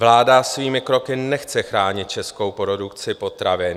Vláda svými kroky nechce chránit českou produkci potravin.